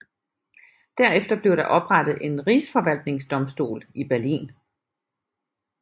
Derefter blev der oprettet en rigsforvaltningsdomstol i Berlin